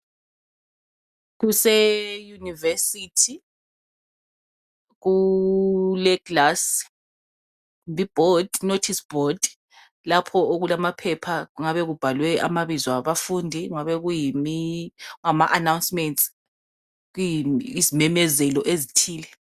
kuse university kule glass kumbe i board i notice board lapho okulamaphepha kungabe kubhalwe amabizo abafundi kungama announcements kuyizimemezelo ezithile